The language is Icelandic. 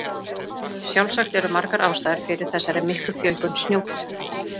Sjálfsagt eru margar ástæður fyrir þessari miklu fjölgun snjógæsarinnar.